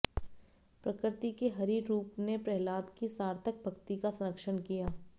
प्रकृति के हरि रूप ने प्रह्लाद की सार्थक भक्ति का संरक्षण किया